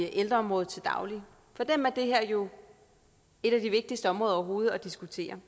ældreområdet til daglig for dem er det her jo et af de vigtigste områder overhovedet at diskutere